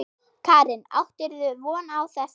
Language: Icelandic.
Karen: Áttirðu von á þessu?